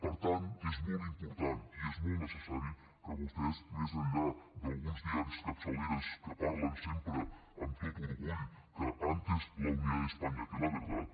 per tant és molt important i és molt necessari que vostès més enllà d’alguns diaris i capçaleres que parlen sempre amb tot orgull que antes la unidad de españa que la verdad